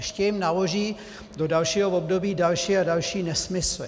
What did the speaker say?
Ještě jim naloží do dalšího období další a další nesmysly.